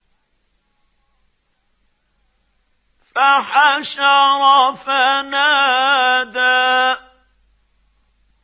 فَحَشَرَ فَنَادَىٰ